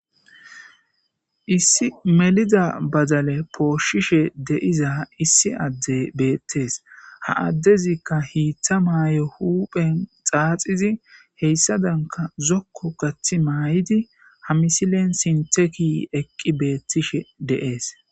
issi meliza badale pooshishe deiza issi adde beettees ha addezikka hiiththa maayo huuphen xaaxizi heyssa danka zokko kathi maay7idi hamisilen sinteki eqqi beettishe de7ees.